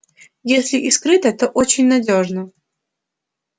если и скрыто то очень надёжно